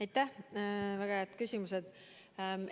Aitäh, väga head küsimused!